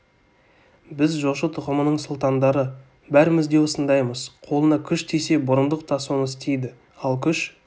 біз жошы тұқымының сұлтандары бәріміз де осындаймыз қолына күш тисе бұрындық та соны істейді ал күш